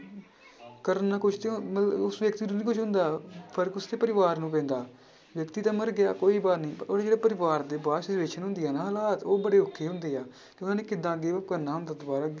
ਮਤਲਬ ਉਸ ਵਿਅਕਤੀ ਨੂੰ ਨੀ ਕੁਛ ਹੁੰਦਾ ਫ਼ਰਕ ਉਸਦੇ ਪਰਿਵਾਰ ਨੂੰ ਪੈਂਦਾ, ਵਿਅਕਤੀ ਤਾਂ ਮਰ ਗਿਆ ਕੋਈ ਉਹਦਾ ਜਿਹੜਾ ਪਰਿਵਾਰ ਦੇ ਬਾਅਦ ਦੇ ਵਿੱਚ ਹੁੰਦੇ ਆ ਨਾ ਹਾਲਾਤ ਉਹ ਬੜੇ ਔਖੇ ਹੁੰਦੇ ਆ ਤੇ ਉਹਨਾਂ ਨੇ ਕਿੱਦਾਂ ਅੱਗੇ ਉਹ ਕਰਨਾ ਹੁੰਦਾ ਦੁਬਾਰਾ।